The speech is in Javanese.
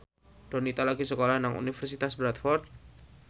Donita lagi sekolah nang Universitas Bradford